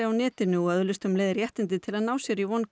á netinu og öðlist um leið réttindi til að ná sér í